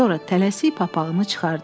Sonra tələsik papağını çıxardı.